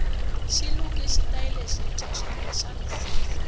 xiluke xitayele swintwa xamisisi